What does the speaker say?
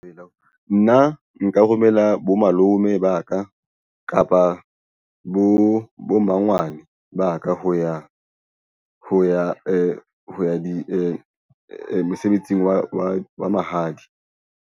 Eya, nna nka romela bo malome ba ka kapa bo mmangwane ba ka ho ya mosebetsing wa mahadi.